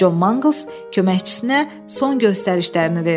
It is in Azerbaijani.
Con Manqls köməkçisinə son göstərişlərini verdi.